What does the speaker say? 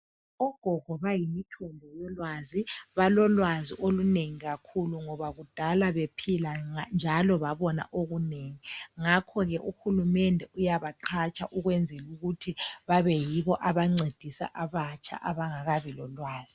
Ogogo bayimithombo yolwazi balolwazi olunengi kakhulu ngoba kudala bephila njalo babona okunengi ngakho ke uhulumende uyabaqhatsha ukwenzelukuthi babeyibo abancedisa abatsha abangakabi lolwazi.